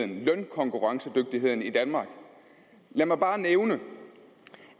lønkonkurrencedygtigheden i danmark lad mig bare nævne